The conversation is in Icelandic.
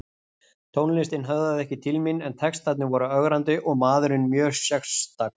Tónlistin höfðaði ekki til mín en textarnir voru ögrandi og maðurinn mjög sérstakur.